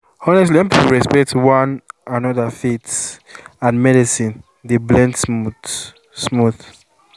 honestly when people respect one another faith and and medicine dey blend smooth-smooth